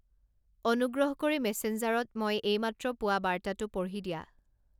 অনুগ্ৰহ কৰি মেচেনজাৰত মই এইমাত্ৰ পোৱা বাৰ্তাটো পঢ়ি দিয়া